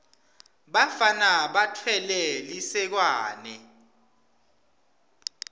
bafana batfwele lisekwane